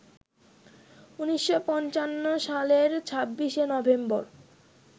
১৯৫৫ সালের ২৬শে নভেম্বর